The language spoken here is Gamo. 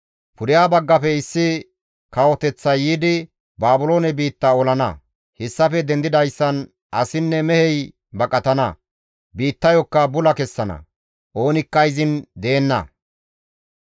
Pudeha baggafe issi kawoteththay yiidi Baabiloone biitta olana; hessafe dendidayssan asinne mehey baqatana; biittayokka bula kessana; oonikka izin deenna.»